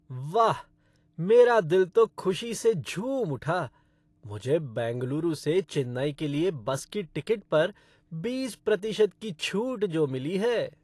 वाह! मेरा दिल तो खुशी से झूम उठा, मुझे बेंगलुरु से चेन्नई के लिए बस की टिकट पर बीस प्रतिशत की छूट जो मिली है।